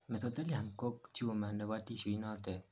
mesothelium ko tumor nebo tissue inotet